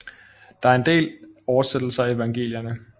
Der er en del oversættelser af Evangelierne